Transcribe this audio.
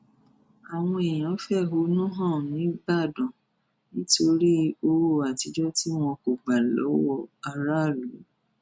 àwọn èèyàn fẹhónú hàn nígbàdàn nítorí owó àtijọ tí wọn kò gbà lọwọ aráàlú